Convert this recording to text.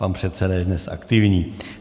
Pan předseda je dnes aktivní.